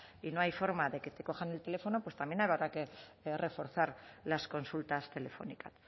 y no hay forma de que te cojan el teléfono pues también habrá que reforzar las consultas telefónicas